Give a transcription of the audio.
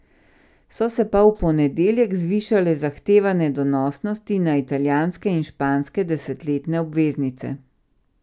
So se pa v ponedeljek zvišale zahtevane donosnosti na italijanske in španske desetletne obveznice.